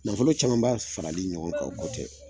Nafolo camanba farali ɲɔgɔn kan o ko tɛ